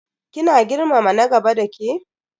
Kina girmama na gaba dake?